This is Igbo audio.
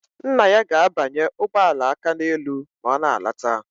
Nna ya ga-abanye ụgbọala Akaneelu ma ọ lọta